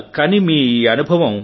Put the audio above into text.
కానీ మీ ఈ అనుభవం